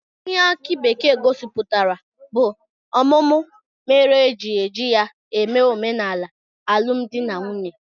Ihe aki bekee gosipụtara bụ ọmụmụ mere e ji eji ya eme omenala alụmdi na nwunye